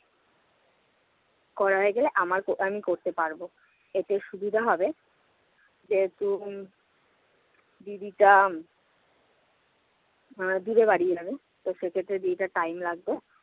করা হয়ে গেলে আমার~ আমি করতে পারব। এতে সুবিধা হবে। যেহেতু দিদিটা আমায় দিয়ে বাড়ি যাবে, তো সেক্ষেত্রে দিদিটার time লাগবে।